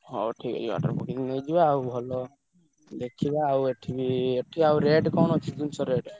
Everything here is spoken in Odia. ହଉ ଠିକ୍ ଅଛି ଗାଡିରେ ପକେଇକି ନେଇଯିବା ଆଉ ଦେଖିବା ଆଉ ଏଠି ବି ଆଉ rate କଣ ଅଛି ଜିନିଷର?